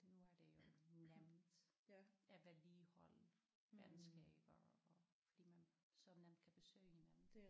Nu er det jo nemt at vedligeholde venskaber og fordi man så nemt kan besøge hinanden